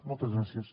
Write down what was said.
moltes gràcies